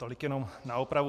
Tolik jenom na opravu.